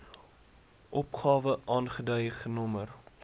opgawe aangedui genommer